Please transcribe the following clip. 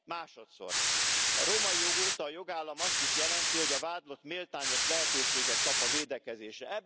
Másodszor A római jog óta a jogállam azt is jelenti, hogy a vádlott méltányos lehetőséget kap a védekezésre.